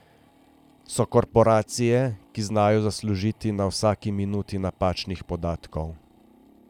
So korporacije, ki znajo zaslužiti na vsaki minuti napačnih podatkov.